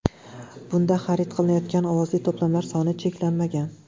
Bunda xarid qilinayotgan ovozli to‘plamlar soni cheklanmagan.